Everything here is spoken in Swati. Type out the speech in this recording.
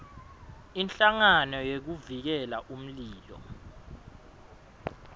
inhlangano yekuvikela umlilo